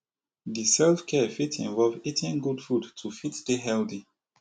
di self care fit involve eating good food to fit dey healthy